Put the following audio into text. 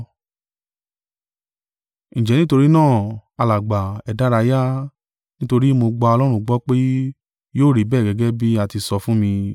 Ǹjẹ́ nítorí náà, alàgbà, ẹ dárayá: nítorí mo gba Ọlọ́run gbọ́ pé, yóò rí bẹ́ẹ̀ gẹ́gẹ́ bí a ti sọ fún mi.